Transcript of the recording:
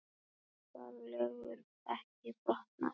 Siðareglur ekki brotnar